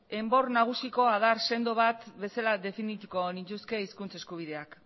enbor nagusiko adar sendo bat bezala definituko nituzke hizkuntza eskubideak